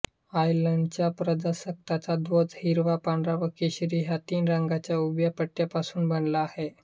आयर्लंडच्या प्रजासत्ताकाचा ध्वज हिरवा पांढरा व केशरी ह्या तीन रंगांच्या उभ्या पट्ट्यांपासून बनला आहे